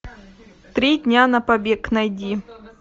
три дня на побег найди